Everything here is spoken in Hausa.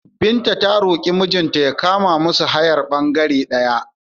Binta ta roƙi mijinta ya kama musu hayar ɓangere ɗaya.